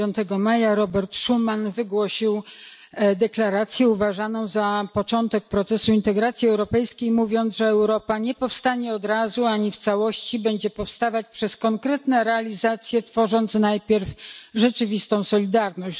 Dnia 9 maja Robert Schuman wygłosił deklarację uważaną za początek procesu integracji europejskiej, mówiąc, że Europa nie powstanie od razu ani w całości, lecz że będzie powstawać przez konkretne realizacje, tworząc najpierw rzeczywistą solidarność.